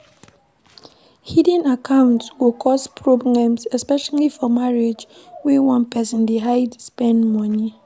Hidden accounts go cause problems especially for marriage when one person dey hide spend money